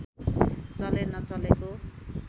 चले नचलेको